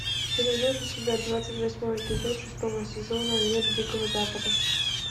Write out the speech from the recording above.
ты найдешь у себя двадцать восьмой эпизод шестого сезона мир дикого запада